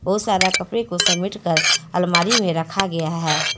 बहुत सारा कपड़े को समेट कर अलमारी मे रखा गया है।